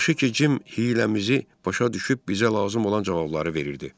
Yaxşı ki, Cim hiyləmizi başa düşüb bizə lazım olan cavabları verirdi.